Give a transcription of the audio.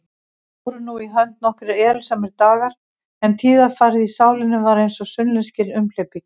Fóru nú í hönd nokkrir erilsamir dagar, en tíðarfarið í sálinni var einsog sunnlenskir umhleypingar.